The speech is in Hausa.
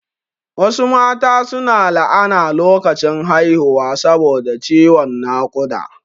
Wasu mata su na la'ana lokacin haihuwa saboda ciwon naƙuda